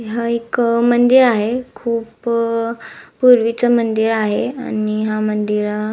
हा एक मंदिर आहे खुप अ पुर्वीच मंदिर आहे आणि हा मंदिरा--